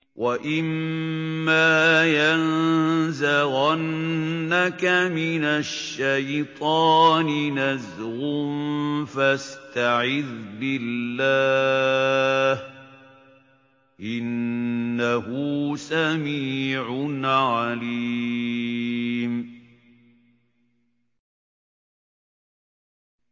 وَإِمَّا يَنزَغَنَّكَ مِنَ الشَّيْطَانِ نَزْغٌ فَاسْتَعِذْ بِاللَّهِ ۚ إِنَّهُ سَمِيعٌ عَلِيمٌ